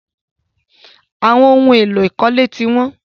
Àwọn ohun-èlò ìkọ́lé ti wọ́n.